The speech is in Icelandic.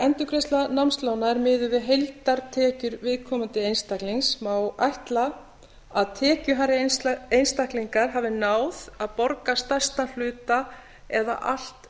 endurgreiðsla námslána er miðuð við heildartekjur viðkomandi einstaklings má ætla að tekjuhærri einstaklingar hafi náð að borga stærstan hluta eða allt